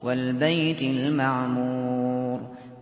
وَالْبَيْتِ الْمَعْمُورِ